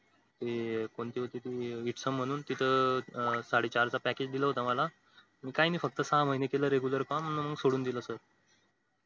ते कोणती होती ती वित्तसोम म्हणून तिथं साडेचार चा package दिलं होत मला काय माही फक्त सहा महिने केलं regular काम मग सोडून दिलं